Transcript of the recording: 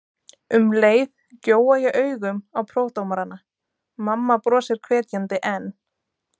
Um leið gjóa ég augum á prófdómarana: mamma brosir hvetjandi en